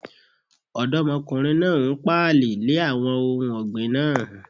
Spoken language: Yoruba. Ọ̀dọ́mọkùnrin náà n pààlẹ̀ lè àwọn ohun ọ̀gbìn náà